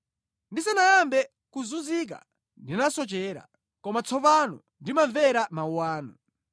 Ndisanayambe kuzunzika ndinasochera, koma tsopano ndimamvera mawu anu.